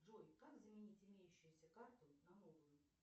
джой как заменить имеющуюся карту на новую